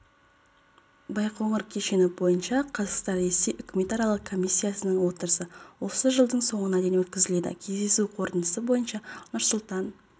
байқоңыр кешені бойынша қазақстан-ресей үкіметаралық комиссиясының отырысы осы жылдың соңына дейін өткізіледі кездесу қорытындысы бойынша нұрсұлтан